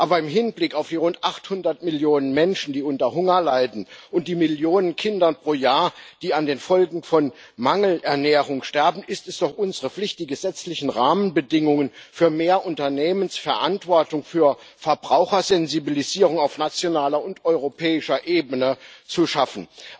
Aber im Hinblick auf die rund 800 Millionen Menschen, die unter Hunger leiden, und die Millionen Kinder, die pro Jahr an den Folgen von Mangelernährung sterben, ist es doch unsere Pflicht, die gesetzlichen Rahmenbedingungen für mehr Unternehmensverantwortung, für Verbrauchersensibilisierung auf nationaler und europäischer Ebene zu schaffen.